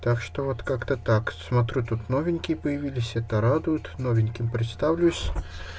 так что вот как-то так смотрю тут новенькие появились это радует новеньким представлюсь